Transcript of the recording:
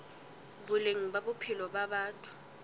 boleng ba bophelo ba batho